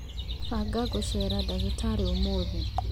banga gũceera ndagĩtarĩ ũmũthĩ